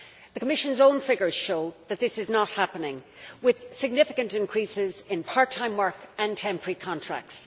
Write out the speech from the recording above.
The Commission's own figures show that this is not happening, with significant increases in part time work and temporary contracts.